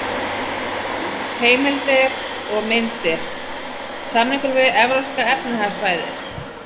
Heimildir og myndir: Samningurinn um Evrópska efnahagssvæðið.